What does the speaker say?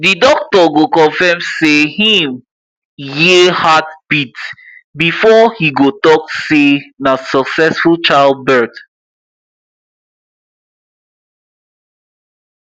the doctor go confirm say him hear hearbeat before he go talk say na succesful childbirth